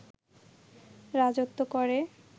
রাজত্ব করে